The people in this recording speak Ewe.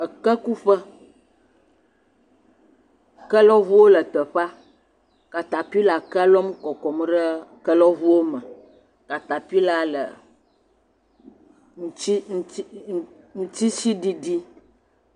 Eke kuƒe ke lɔʋuwo le te ƒea katapila kea lɔm kɔkɔm ɖe ke lɔʋuwo me katapilaa le ŋtsi ŋtsi ŋtsi ŋtsitsiɖiɖi